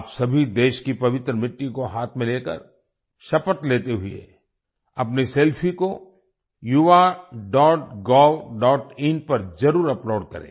आप सभी देश की पवित्र मिट्टी को हाथ में लेकर शपथ लेते हुए अपनी सेल्फी को yuvagovin पर जरुर अपलोड करें